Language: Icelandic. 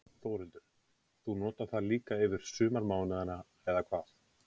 Þórhildur: Þú notar það líka yfir sumarmánuðina, eða hvað?